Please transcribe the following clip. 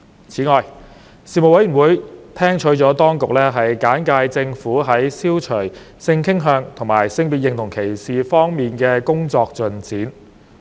此外，事務委員會聽取了當局簡介政府在消除性傾向及性別認同歧視方面的工作進展。